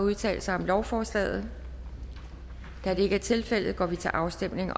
at udtale sig om lovforslaget da det ikke er tilfældet går vi til afstemning